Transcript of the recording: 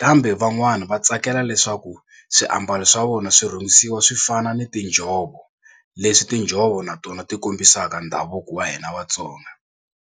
kambe van'wana va tsakela leswaku swiambalo swa vona swi rhungisiwa swi fana ni tinjhovo leswi tinjhovo na tona ti kombisaka ndhavuko wa hina Vatsonga.